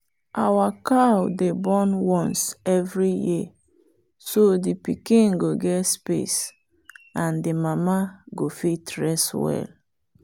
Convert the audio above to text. our cow dey born once every year so the pikin go get space and the mama go fit rest well.